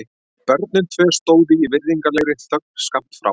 Börnin tvö stóðu í virðulegri þögn skammt frá.